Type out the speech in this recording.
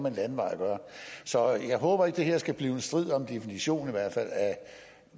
en landevej at gøre så jeg håber ikke at det her skal blive en strid om en definition af hvad